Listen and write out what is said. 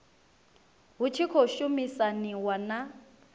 hu tshi khou shumisaniwa na